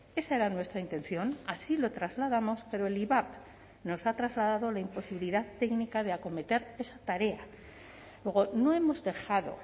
esa era nuestra intención así lo trasladamos pero el ivap nos ha trasladado la imposibilidad técnica de acometer esa tarea luego no hemos dejado